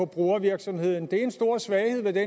brugervirksomheden det er en stor svaghed ved det